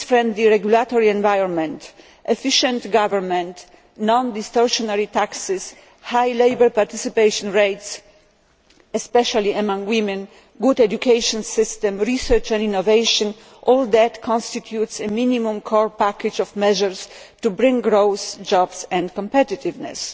A business friendly regulatory environment, efficient government, non distortionary taxes, high labour participation rates, especially among women, a good education system, research and innovation all that constitutes a minimum core package of measures to bring growth, jobs and competitiveness.